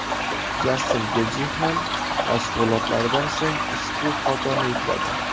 Jastin Getji ham mashg‘ulotlardan so‘ng ushbu fotoni yukladi.